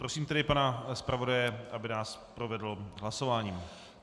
Prosím tedy pana zpravodaje, aby nás provedl hlasováním.